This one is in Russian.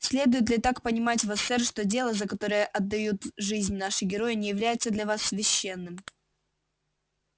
следует ли так понимать вас сэр что дело за которое отдают жизнь наши герои не является для вас священным